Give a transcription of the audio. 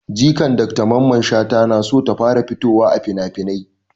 Jikan dr mamman shata na so ta fara fitowa a finafinai